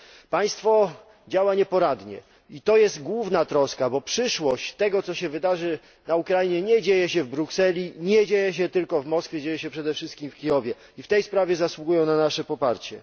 Państwo działa nieporadnie i to jest główna troska, bo przyszłość tego, co się wydarzy na Ukrainie nie dzieje się w Brukseli, nie dzieje się tylko w Moskwie, dzieje się przede wszystkim w Kijowie i w tej sprawie zasługują na nasze poparcie.